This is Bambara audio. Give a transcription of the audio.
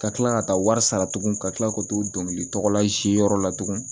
Ka kila ka taa wari sara tuguni ka kila k'o t'o dɔnkili tɔgɔ la yɔrɔ la tugun